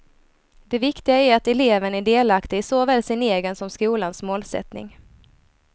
Det viktiga är att eleven är delaktig i såväl sin egen som skolans målsättning.